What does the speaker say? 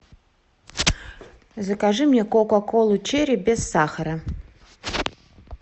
закажи мне кока колу черри без сахара